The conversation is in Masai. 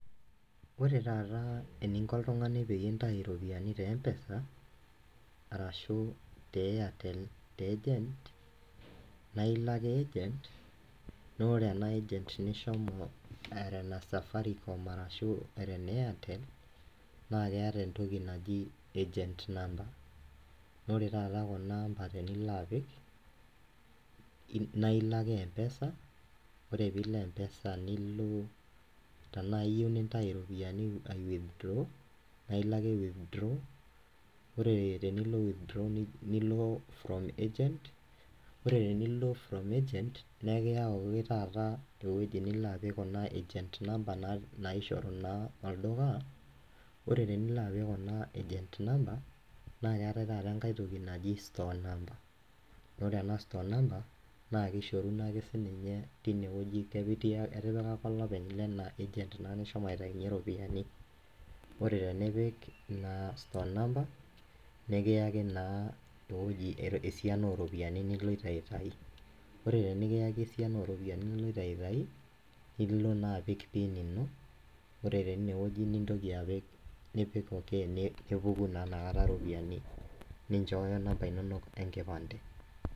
Ore taata eninko oltung'ani peyie intai iropiyiani te mpesa arashu te airtel te agent naa ilo ake agent naa ore ena agent nishomo era ene safaricom arashu era ene airtel naa keeta entoki naji agent number naa ore taata kuna ampa tenilo apik naa ilo ake mpesa ore piilo mpesa nilo tanaa iyieu nintai iropiyiani ae withdraw nailo ake withdraw ore tenilo withdraw nilo from agent ore tenilo from agent naa ekiyau taata ewoji nilo apik kuna agent number naishoru naa olduka ore tenilo apik kuna agent number naa keetae taata enkae toki naji store number ore ena store number naa kishoruno ake sininye tinewoji kepi ketii ake olopeny lena agent naa nishomo aitainyie iropiyiani ore tenipik ina store number nikiyaki naa ewoji esiana oropiyiani niloito aitayu ore tenikiyaki esiana oropiyiani niloito aitai nilo naa apik pin ino ore teinewoji nintoki apik nipik okay nepuku taa inakata iropiyiani ninchooyo inamba inonok enkipande.